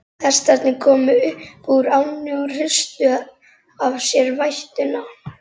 Hestarnir komu upp úr ánni og hristu af sér vætuna.